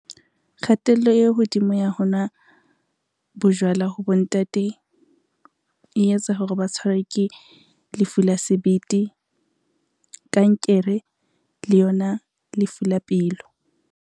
Kgatello e hodimo ya ho nwa bojwala ho bontate e etsa hore ba tshwarwa ke lefu la sebete, kankere, le yona lefu la pelo.